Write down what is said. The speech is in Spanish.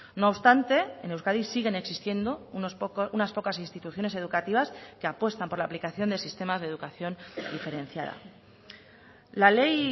no obstante en euskadi siguen existiendo unas pocas instituciones educativas que apuestan por la aplicación de sistemas de educación diferenciada la ley